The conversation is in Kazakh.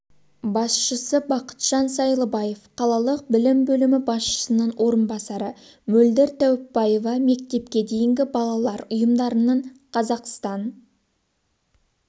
басшысы бақытжан сайлыбаев қалалық білім бөлімі басшысының орынбасары мөлдір тәуіпбаева мектепке дейінгі балалар ұйымдарының қазақстан